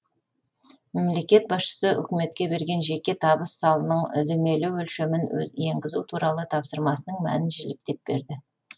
мемлекет басшысы үкіметке берген жеке табыс салығының үдемелі өлшемін енгізу туралы тапсырмасының мәнін жіліктеп берді